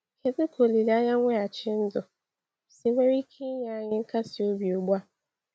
Kedu ka olileanya mweghachi ndụ si nwere ike inye anyị nkasi obi ugbu a?